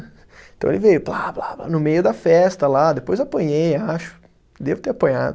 Então ele veio, pá pá pá, no meio da festa lá, depois apanhei, acho, devo ter apanhado.